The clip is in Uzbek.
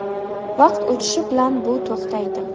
Vaqt o‘tishi bilan bu to‘xtaydi.